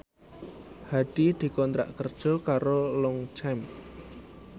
Hadi dikontrak kerja karo Longchamp